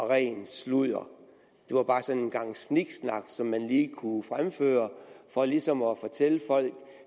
rent sludder det var bare sådan en gang sniksnak som man lige kunne fremføre for ligesom at fortælle folk